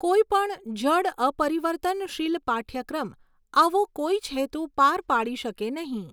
કોઈ પણ જડ અપરિવર્તન શીલ પાઠ્યક્રમ આવો કોઈજ હેતુ પાર પાડી શકે નહીં.